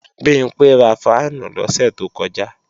Bimpé ra fáànù lọ́sẹ̀ tó kọjá